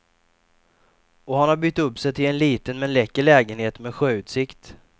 Och han har bytt upp sig till en liten men läcker lägenhet med sjöutsikt.